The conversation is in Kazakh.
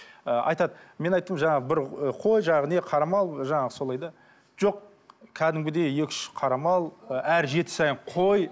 ы айтады мен айттым жаңағы бір ы қой жаңағы не қара мал жаңағы солай да жоқ кәдімгідей екі үш қара мал ы әр жеті сайын қой